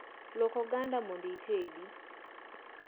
Luok oganda mondo itede